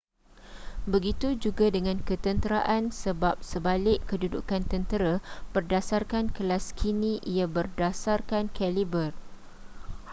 begitu juga dengan ketenteraan sebab sebalik kedudukan tentera berdasarkan kelas kini ia berdasarkan kaliber